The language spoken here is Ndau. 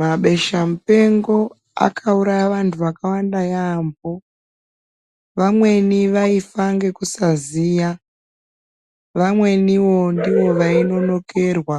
Mabesha mupengo akauraya vantu vakawanda yaampo vamweni vaifa nekusaziya vamweniwo ndovainonokerwa